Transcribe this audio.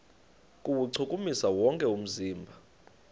kuwuchukumisa wonke umzimba